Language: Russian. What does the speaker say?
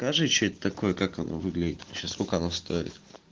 скажи что это такое как она выглядит сейчас сколько она стоит